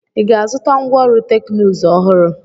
Ị ga-azụta ngwá ọrụ teknụzụ ọhụrụ?